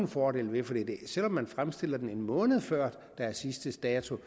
fordele ved for selv om man fremstiller den en måned før der er sidste dato